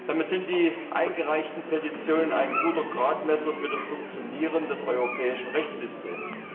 Damit sind die eingereichten Petitionen ein guter Gradmesser für das Funktionieren des europäischen Rechtssystems.